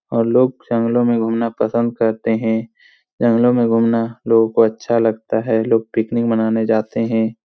और लोग जंगलो में घूमना पसंद करते है जंगलो में घूमना लोगों को अच्छा लगता हैं लोग पिकनिक मनाने जाते हैं।